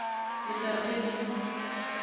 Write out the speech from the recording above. le tla re ge le